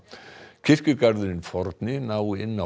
kirkjugarðurinn forni nái inn á